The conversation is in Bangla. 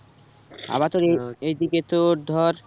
আবার তোর এইদিকে তোর ধর